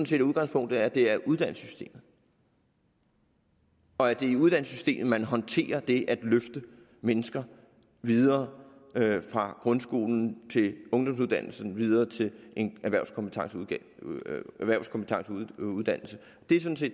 set at udgangspunktet er at det er uddannelsessystemet og at det er i uddannelsessystemet at man håndterer det at løfte mennesker videre fra grundskolen til ungdomsuddannelsen og videre til en erhvervskompetencegivende uddannelse